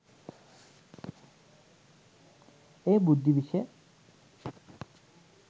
එය බුද්ධි විෂය